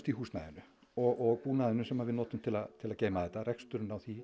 húsnæðinu og búnaðinum sem við notum til að til að geyma þetta reksturinn á því